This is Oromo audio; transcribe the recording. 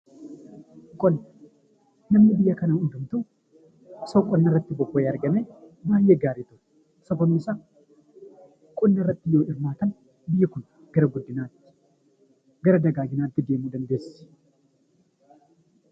Namni biyya kanaa hundumtuu osoo qonnarratti bobba'ee argamee baay'ee gaariidha. Sababni isaa qonnarratti yoo hirmaatan biyyi kun gara guddinaatti gara dagaaginaatti deemuu dandeessi.